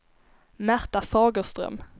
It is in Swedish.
Märta Fagerström